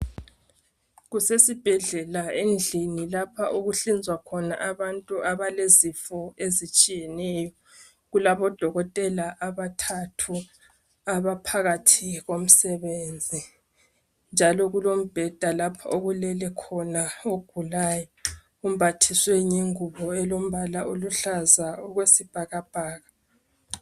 Kusesibhedlela endlini lapho okuhlinzwa khona abantu abalezifo ezitshiyeneyo. Kulabodokotela abathathu abaphakathi komsebenzi, njalo kulombheda lapho okulele khona ogulayo. Umbathiswe ngengubo elombala oluhlaza okwesibhakabhaka.